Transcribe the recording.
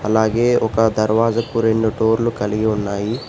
అలాగే ఒక దర్వాజకు రెండు డోర్లు కలిగి ఉన్నాయి.